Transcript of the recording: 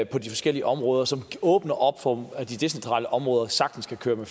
på de forskellige områder som åbner op for at de decentrale områder sagtens kan køre med